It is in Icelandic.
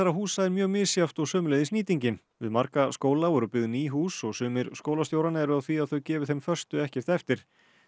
húsa er mjög misjafnt og sömuleiðis nýtingin við marga skóla voru byggð ný hús og sumir skólastjóranna eru á því að þau gefi þeim föstu ekkert eftir